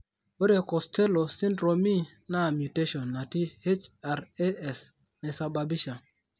Ore Costello syndromee naa mutation natii HRAS naisababisha.